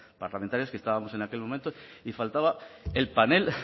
parlamentarias que estábamos en aquel momento y faltaba el panel